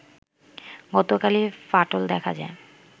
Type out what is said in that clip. গতকালই ফাটল দেখা যায়